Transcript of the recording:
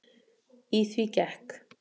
Í því gekk